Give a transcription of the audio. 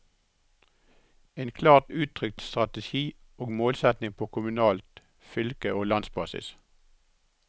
En klart uttrykt strategi og målsetting på kommunalt, fylke og landsbasis.